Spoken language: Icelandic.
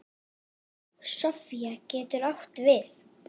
Sofía getur átt við